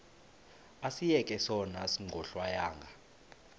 asiyeke sono smgohlwaywanga